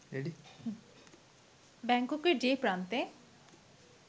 ব্যাংককের যে প্রান্তে